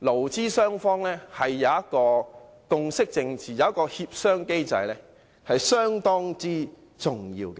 勞資雙方之間的共識政治、協商機制是相當重要。